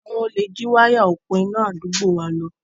Àwọn olè jí wáyà òpo iná àdúgbò wa lọ.